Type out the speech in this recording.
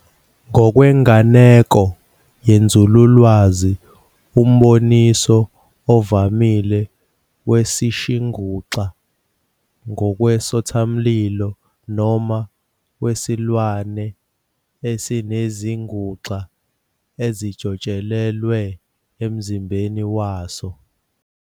Ngokwenganeko yenzululwazi, umboniso ovamile wesishinguxa ngowesothamlilo, noma wesilwane, esinezinguxa elijotshelelwe emzimbeni waso.